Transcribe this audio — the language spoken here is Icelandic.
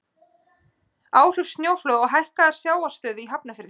Áhrif sjóflóða og hækkaðrar sjávarstöðu í Hafnarfirði.